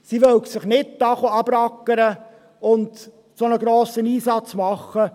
Sie wollten sich nicht abrackern und einen solch grossen Einsatz leisten.